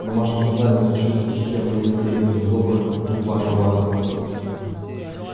домашнее задание сочинить стихи о моей победе над оборотнем из вага-вага